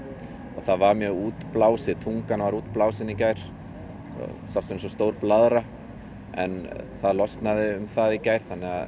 það var mjög útblásið tungan var mjög útblásin í gær það sást stór blaðra en það losnaði um það í gær